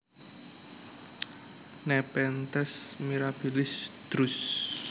Nepenthes mirabilis Druce